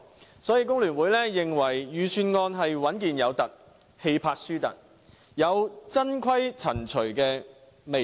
所以，香港工會聯合會認為，預算案是穩健"有凸"，氣魄"輸凸"，有"曾"規、"陳"隨的味道。